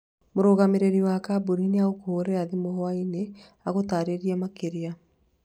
Mũrũgamĩrĩrĩri wa kambuni nĩ egũkũhũrĩra thimũ hwaĩ-inĩ agũtaarĩrie makĩria